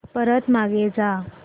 परत मागे जा